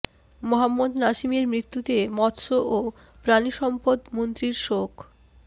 মোহাম্মদ নাসিমের মৃত্যুতে মৎস্য ও প্রাণী সম্পদ মন্ত্রীর শোক